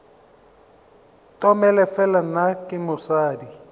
tomele fela nna ke mosadi